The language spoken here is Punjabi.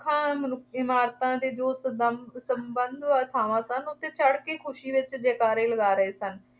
ਰੁੱਖਾਂ, ਇਮਾਰਤਾਂ ਅਤੇ ਜੋ ਸਬੰਭ ਸੰਭਵ ਥਾਵਾਂ ਸਨ, ਉਹ ’ਤੇ ਚੜ੍ਹ ਕੇ ਖੁਸ਼ੀ ਵਿੱਚ ਜੈ-ਜੈਕਾਰੇ ਲਗਾ ਰਹੇ ਸਨ।